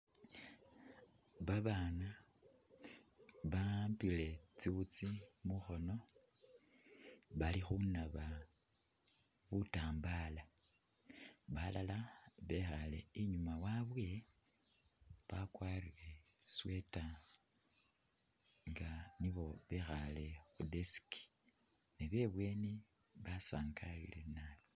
Babana bawambile tsiwutsi mukhono bali khunaba butambala balala bekhale inyuma wabwe bakwarire tsi sweater nga nibo bekhale khu desk nebebweni basangalile nabi.